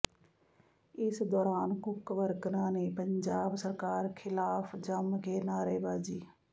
ਇਸ ਦੌਰਾਨ ਕੁੱਕ ਵਰਕਰਾਂ ਨੇ ਪੰਜਾਬ ਸਰਕਾਰ ਖਿਲਾਫ ਜੰਮ ਕੇ ਨਾਅਰੇਬਾਜੀ